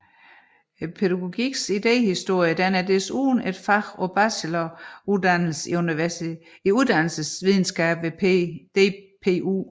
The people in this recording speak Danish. Pædagogikkens idehistorie er desuden et fag på bacheloruddannelser i uddannelsesvidenskab ved DPU